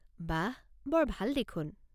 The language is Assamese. বাহঃ! বৰ ভাল দেখোন।